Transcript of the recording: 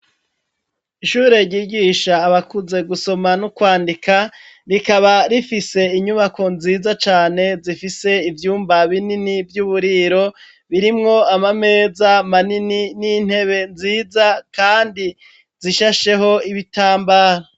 Ishure ryigisha abakuze gusoma no kwandika, rikaba rifise inyubako nziza cane zifise ivyumba binini vy'uburiro birimwo ama meza manini n'intebe nziza kandi zishasheho ibitambara.